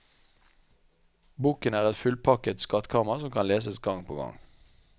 Boken er et fullpakket skattkammer som kan leses gang på gang.